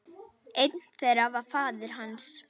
Einn þeirra var faðir hans.